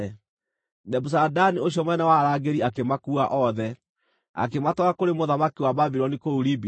Nebuzaradani ũcio mũnene wa arangĩri akĩmakuua othe, akĩmatwara kũrĩ mũthamaki wa Babuloni kũu Ribila.